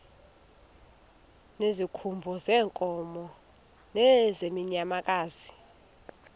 ngezikhumba zeenkomo nezeenyamakazi